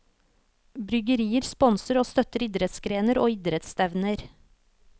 Bryggerier sponser og støtter idrettsgrener og idrettsstevner.